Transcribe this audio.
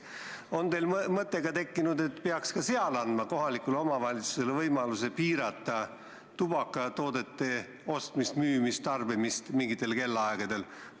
On teil tekkinud ka mõte, et peaks andma kohalikule omavalitsusele võimaluse piirata ka tubakatoodete ostmist, müümist ja tarbimist mingitel kellaaegadel?